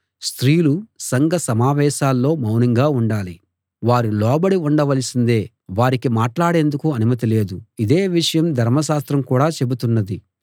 స్త్రీలు సంఘ సమావేశాల్లో మౌనంగా ఉండాలి వారు లోబడి ఉండవలసిందే వారికి మాట్లాడేందుకు అనుమతి లేదు ఇదే విషయాన్ని ధర్మశాస్త్రం కూడా చెబుతున్నది